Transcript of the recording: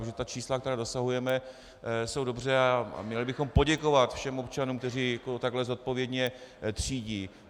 Protože ta čísla, která dosahujeme, jsou dobře a měli bychom poděkovat všem občanům, kteří takto zodpovědně třídí.